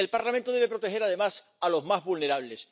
Y el Parlamento debe proteger además a los más vulnerables.